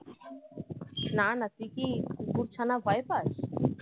না না তুই কি কুকুর ছানা ভয় পাস?